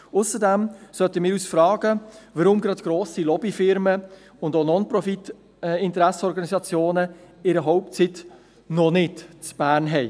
Ausserdem sollten wir uns fragen, warum gerade grosse Lobbyunternehmen und auch Non-Profit-Organisationen ihren Hauptsitz noch nicht in Bern haben.